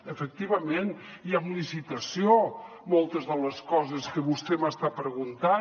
efectivament i amb licitació moltes de les coses que vostè m’està preguntant